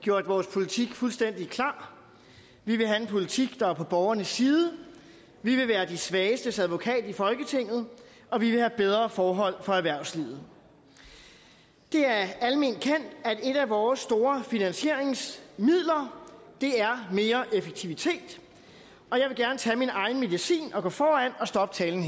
gjort vores politik fuldstændig klar vi vil have en politik der er på borgernes side vi vil være de svagestes advokat i folketinget og vi vil have bedre forhold for erhvervslivet det er alment kendt at et af vores store finansieringsmidler er mere effektivitet og jeg vil gerne tage min egen medicin og gå foran og stoppe talen